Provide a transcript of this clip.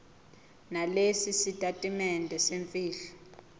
nalesi sitatimende semfihlo